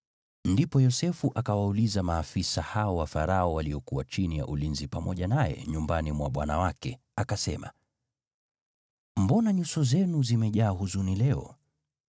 Ndipo Yosefu akawauliza maafisa hao wa Farao waliokuwa chini ya ulinzi pamoja naye nyumbani mwa bwana wake, akasema, “Mbona nyuso zenu zimejaa huzuni leo?”